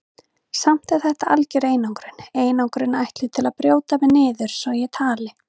Samt er þetta algjör einangrun, einangrun ætluð til að brjóta mig niður svo ég tali.